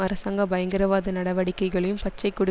அரசாங்க பயங்கரவாத நடவடிக்கைகளையும் பச்சை கொடி